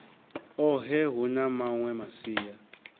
ohe hu na mawe masia